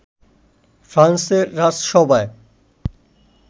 ফ্রান্সের রাজসভায়